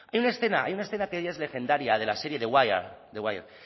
hay una escena hay una escena que ya es legendaria de la serie the wire